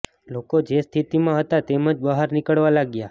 લોકો જે સ્થિતિમાં હતા તેમ જ બહાર નીકળવા લાગ્યા